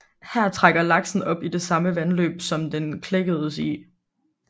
Her trækker laksen op i det samme vandløb som den klækkedes i